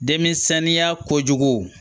Denmisɛnninya ko jugu